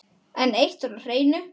En eitt var á hreinu.